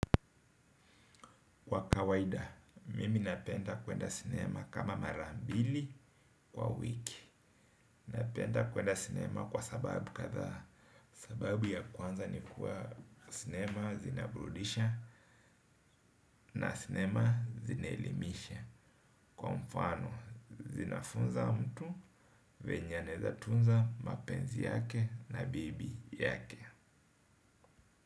Kwa kawaida, mimi napenda kuenda sinema kama mara mbili kwa wiki. Napenda kuenda sinema kwa sababu kadhaa. Sababu ya kwanza ni kuwa sinema zinaburudisha na sinema zinaelimisha. Kwa mfano, zinafunza mtu, vyenye anaeza tunza mapenzi yake na bibi yake.